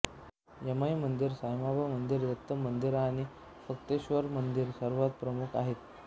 यमाई मंदिर सायमाबा मंदिर दत्त मंदिर आणि फत्तेश्वर मंदिर सर्वात प्रमुख आहेत